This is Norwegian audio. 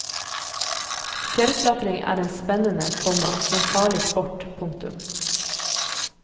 Fjellklatring er en spennende, komma men farlig sport. punktum